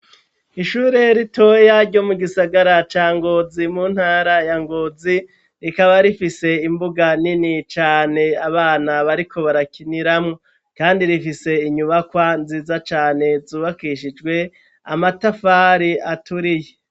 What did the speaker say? Ishure ritoya ryo mu gisagara ca Ngozi mu ntara ya Ngozi, rikaba rifise imbuga nini cane abana bariko barakiniramwo. Kandi rifise inyubakwa nziza cane, zubakishijwe amatafari aturiye.